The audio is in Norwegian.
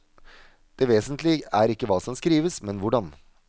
Det vesentlige er ikke hva som skrives, men hvordan.